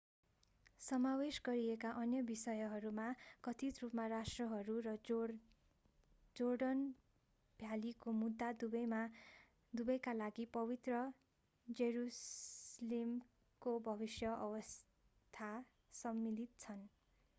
समावेश गरिएका अन्य विषयहरूमा कथित रूपमा राष्ट्रहरू र जोर्डन भ्यालीको मुद्दा दुबैका लागि पवित्र जेरुसलेमको भविष्यको अवस्था सम्मिलित छन्